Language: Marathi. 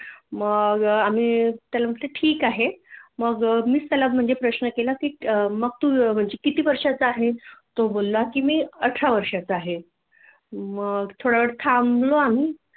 मग आम्ही त्याला म्हटलं ठिक आहे मग मीच त्याला म्हणजे प्रश्न केला की मग तु किती वर्षाचा आहे तो बोलला की अठरा वर्षाचा आहे मग थोडावेळ थांबलाे आम्ही